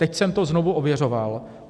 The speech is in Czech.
Teď jsem to znovu ověřoval.